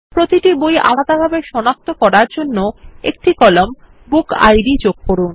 প্রতিটি বই আলাদাভাবে সনাক্ত করার জন্য একটি কলাম বুকিড যোগ করুন